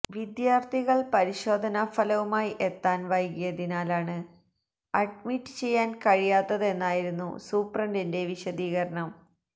വിദ്യാർഥികൾ പരിശോധനാഫലവുമായി എത്താൻ വൈകിയതിനാലാണ് അഡ്മിറ്റ് ചെയ്യാൻ കഴിയാത്തതെന്നായിരുന്നു സൂപ്രണ്ടിന്റെ വിശദീകരണം